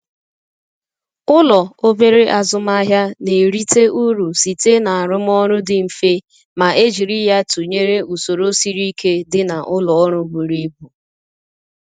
Ụlọ obere azụmahịa na-erite uru site n'arụmọrụ dị mfe ma e jiri ya tụnyere usoro siri ike dị na ụlọ ọrụ buru ibu.